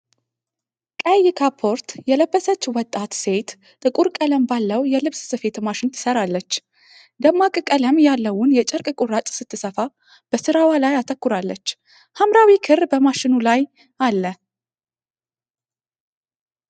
ቀይ ካፖርት የለበሰች ወጣት ሴት ጥቁር ቀለም ባለው የልብስ ስፌት ማሽን ትሰራለች። ደማቅ ቀለም ያለውን የጨርቅ ቁራጭ ስትሰፋ በስራዋ ላይ አተኩራለች። ሐምራዊ ክር በማሽኑ ላይ አለ።